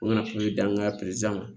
U kana di an ka ma